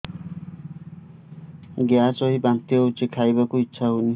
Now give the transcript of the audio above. gas ହୋଇ ବାନ୍ତି ହଉଛି ଖାଇବାକୁ ଇଚ୍ଛା ହଉନି